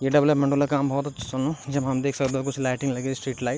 ये डेवलपमेंट वल काम भौत अच्छु चलनु जेमा हम देख सक्दो कुछ लाइटिंग लगी स्ट्रीट लाइट ।